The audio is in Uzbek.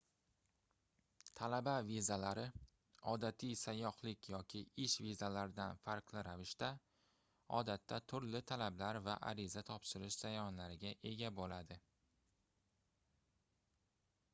talaba vizalari odatiy sayyohlik yoki ish vizalaridan farqli ravishda odatda turli talablar va ariza topshirish jarayonlariga ega boʻladi